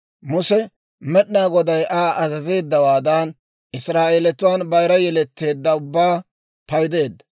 Muse Med'inaa Goday Aa azazeeddawaadan, Israa'eelatuwaan bayira yeletteedda ubbaa paydeedda.